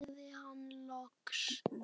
sagði hann loks.